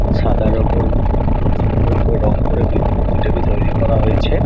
সাদার ওপর উম খুব সুন্দর ভাবে রং করে কৃষ্ণ মূর্তিটিকে তৈরী করা হয়েছে।